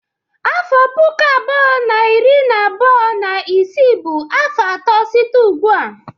Afọ puku abụọ na iri abuo na isii bụ afọ atọ site ugbu a.